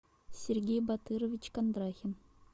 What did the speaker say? сергей батырович кондрахин